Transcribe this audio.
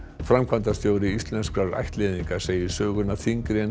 framkvæmdastjóri Íslenskrar ættleiðingar segir söguna þyngri en